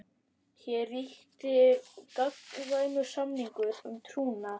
Hér ríkti gagnkvæmur samningur um trúnað.